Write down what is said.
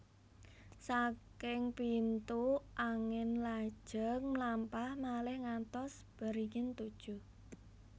Saking pintu angin lajeng mlampah malih ngantos beringin tujuh